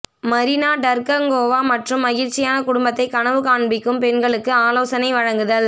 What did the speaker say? மரினா டர்கங்கோவா மற்றும் மகிழ்ச்சியான குடும்பத்தை கனவு காண்பிக்கும் பெண்களுக்கு ஆலோசனை வழங்குதல்